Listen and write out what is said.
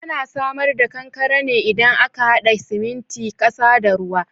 Ana samar da kankare ne idan aka haɗa siminti, ƙasa da ruwa